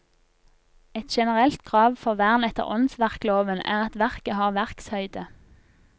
Et generelt krav for vern etter åndsverkloven er at verket har verkshøyde.